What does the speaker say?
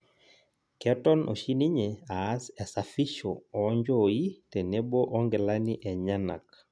Keton oshi ninye aas esafisho oo nchooi tenebo onkilani enyenak